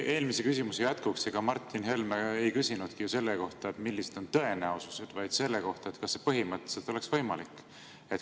Eelmise küsimuse jätkuks: ega Martin Helme ei küsinudki selle kohta, milline on tõenäosus, vaid selle kohta, kas see põhimõtteliselt oleks võimalik.